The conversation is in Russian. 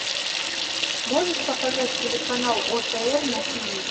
можешь показать телеканал отр на тв